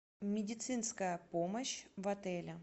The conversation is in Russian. медицинская помощь в отеле